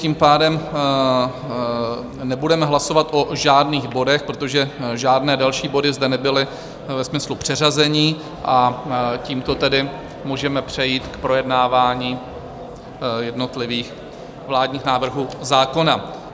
Tím pádem nebudeme hlasovat o žádných bodech, protože žádné další body zde nebyly ve smyslu předřazení, a tímto tedy můžeme přejít k projednávání jednotlivých vládních návrhů zákona.